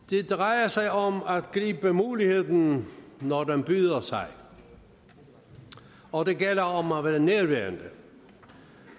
det drejer sig om at gribe muligheden når den byder sig og det gælder om at være nærværende